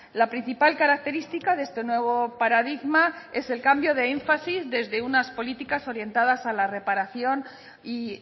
la principal característica de este nuevo paradigma es el cambio de énfasis desde unas políticas orientadas a la reparación y